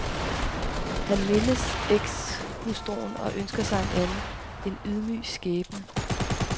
Han mindes ekshustruen og ønsker sig en anden, en ydmyg skæbne.